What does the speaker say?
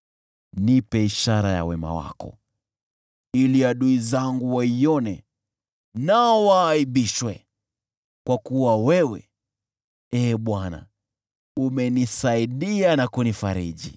Nipe ishara ya wema wako, ili adui zangu waione nao waaibishwe, kwa kuwa wewe, Ee Bwana , umenisaidia na kunifariji.